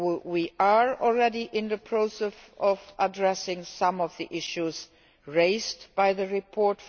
We are already in the process of addressing some of the issues raised by the report.